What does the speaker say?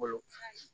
Bolo